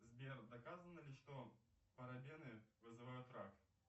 сбер доказано ли что парабены вызывают рак